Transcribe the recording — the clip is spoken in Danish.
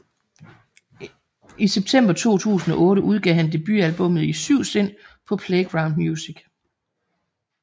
I september 2008 udgav han debutalbummet I Syv Sind på Playground Music